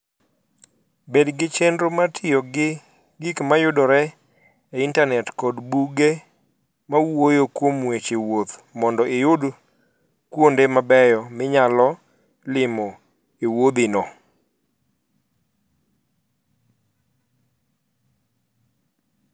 Bed gi chenro mar tiyo gi gik mayudore e Intanet koda buge mawuoyo kuom weche wuoth mondo iyud kuonde mabeyo minyalo limo e wuodhino.